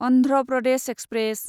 Andhra Pradesh express